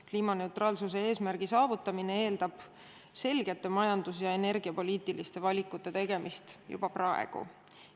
Kliimaneutraalsuse eesmärgi saavutamine eeldab selgete majandus- ja energiapoliitiliste valikute tegemist juba praegu.